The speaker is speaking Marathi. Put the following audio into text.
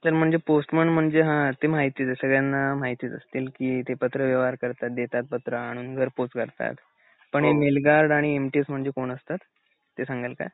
तर म्हणजे पोस्टमन म्हणजे हा ते माहीतच हे सगळ्यांना माहितीच असत ते पत्र व्यवहार करतात देतात पत्र आणून घर पौच करतात पण हे मेल गार्ड आणि एम ती एस कोण असतात? ते सांगाल का?